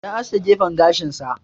Ya aske gefen gashin sa.